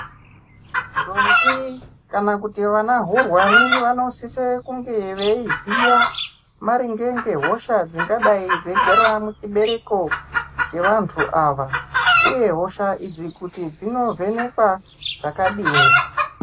Ntombi kana kuti vana hurwani vanosise kunge veyiziya maringe ngehosha dzingadayi dzeyigara muchibereko chevantu ava, uye hosha idzi kuti dzinovhenekwa zvakadini.